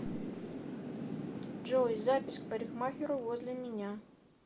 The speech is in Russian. джой запись к парикмахеру возле меня